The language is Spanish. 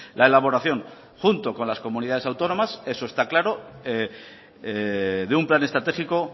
la elaboración junto con las comunidades autónomas eso está claro de un plan estratégico